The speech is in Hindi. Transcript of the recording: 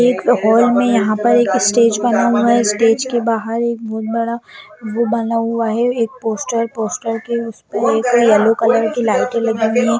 एक हॉल में यहाँ पर एक स्टेज बना हुआ है स्टेज के बाहर एक बहुत बड़ा वो बना हुआ है एक पोस्टर पोस्टर के ऊपर एक येलो कलर की लाइटे लगी हुई --